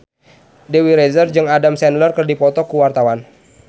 Dewi Rezer jeung Adam Sandler keur dipoto ku wartawan